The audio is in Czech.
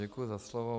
Děkuji za slovo.